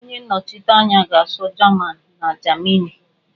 Onye nnọchite anya ga-asụ jaman na Jamini